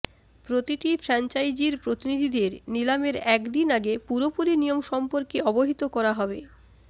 প্রতিটি ফ্র্যাঞ্চাইজির প্রতিনিধিদের নিলামের একদিন আগে পুরোপুরি নিয়ম সম্পর্কে অবহিত করা হবে